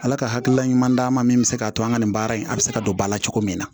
Ala ka hakilila ɲuman d'a ma min bɛ se k'a to an ka nin baara in a bɛ se ka don ba la cogo min na